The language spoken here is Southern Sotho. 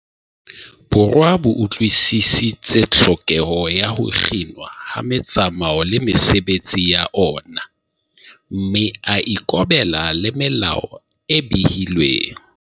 Borwa bo utlwi-sisitse tlhokeho ya ho kginwa ha metsamao le mesebetsi ya ona, mme a ikobela le melao e behilweng.